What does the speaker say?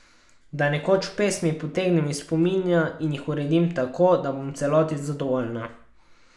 Da nekoč pesmi potegnem iz spomina in jih uredim tako, da bom v celoti zadovoljna.